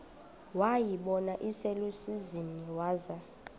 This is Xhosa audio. wayibona iselusizini waza